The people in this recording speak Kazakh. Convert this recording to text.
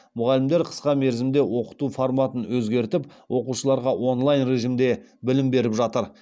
мұғалімдер қысқа мерзімде оқыту форматын өзгертіп оқушыларға онлайн режимде білім беріп жатыр